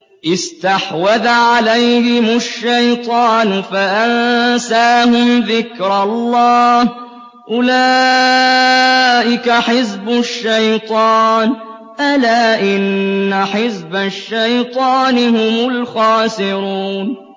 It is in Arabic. اسْتَحْوَذَ عَلَيْهِمُ الشَّيْطَانُ فَأَنسَاهُمْ ذِكْرَ اللَّهِ ۚ أُولَٰئِكَ حِزْبُ الشَّيْطَانِ ۚ أَلَا إِنَّ حِزْبَ الشَّيْطَانِ هُمُ الْخَاسِرُونَ